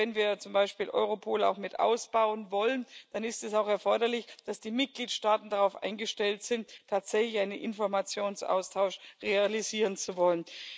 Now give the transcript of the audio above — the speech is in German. Und wenn wir zum Beispiel Europol auch mit ausbauen wollen, dann ist es auch erforderlich, dass die Mitgliedstaaten darauf eingestellt sind, tatsächlich einen Informationsaustausch realisieren zu wollen.